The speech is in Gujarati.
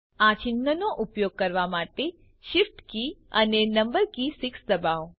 આ ચિન્હનાં ઉપયોગ કરવા માટે shift કે અને નમ્બર કી 6 દબાવો